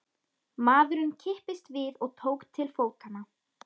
Maðurinn kipptist við og tók til fótanna.